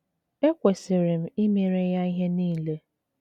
Ekwesịrị m imere ya ihe niile.